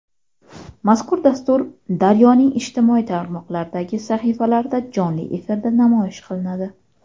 Mazkur dastur "Daryo"ning ijtimoiy tarmoqlardagi sahifalarida jonli efirda namoyish qilinadi.